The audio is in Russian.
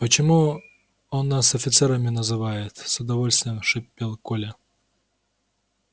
почему он нас офицерами называет с удовольствием шипел коля